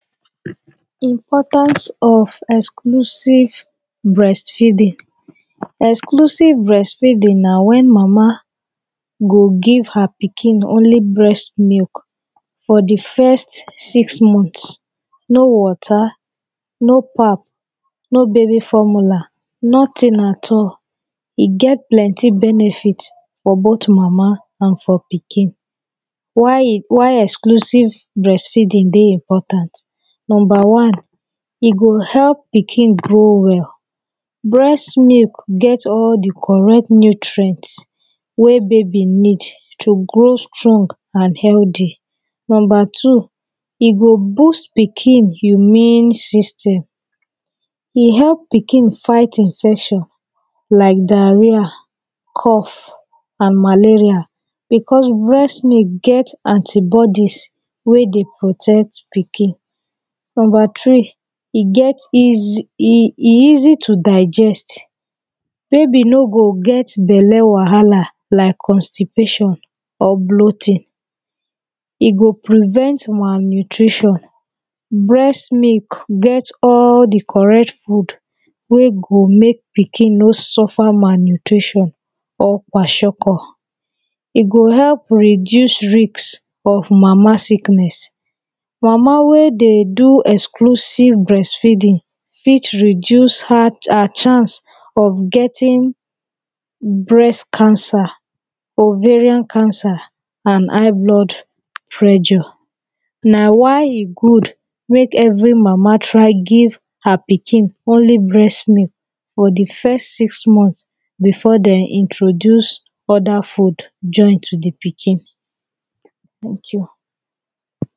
Importance of exclusive breastfeeding Exclusive breastfeeding na when mama go give her pikin only breast milk for the first six months no water no pap no baby formula nothing at all e get plenty benefit for both mama and for pikin why e why exclusive breastfeeding dey important number one e go help pikin grow well well breast milk get all the correct nutrients wey baby need to grow strong and healthy Number two e go boost pikin immune system e help pikin fight infection like diarrhea cough and malaria malaria because breast milk get anti bodies wey dey protect pikin. Number three e get easy e easy to digest baby no go get belle whahala like constipation or bloating e go prevent malnutrition. Breast milk get all the correct food wey go make pikin no suffer malnutrition or kwashiorkor. E go help reduce risk of mama sickness. Mama wey dey do exclusive breastfeeding fit reduce her chance of getting breast cancer, ovarian cancer and high blood pressure. Na why e good make every mama try give her pikin only breast milk for the first six months before dem introduce other food join to the pikin